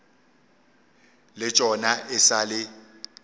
le tšona e sa le